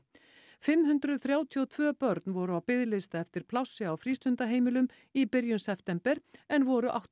fimm hundruð þrjátíu og tvö börn voru á biðlista eftir plássi á frístundaheimilum í byrjun september en voru átta